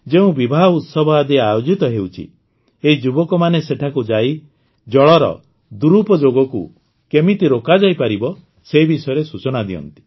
ଯେଉଁ ବିବାହ ଉତ୍ସବ ଆଦି ଆୟୋଜିତ ହେଉଛି ଏହି ଯୁବକମାନେ ସେଠାକୁ ଯାଇ ଜଳର ଦୁରୂପଯୋଗକୁ କେମିତି ରୋକାଯାଇପାରିବ ସେ ବିଷୟରେ ସୂଚନା ଦିଅନ୍ତି